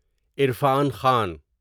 Irfan Khan